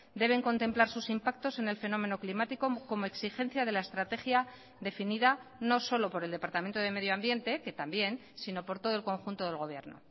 deben contemplar sus impactos en el fenómeno climático como exigencia de la estrategia definida no solo por el departamento de medio ambiente que también sino por todo el conjunto del gobierno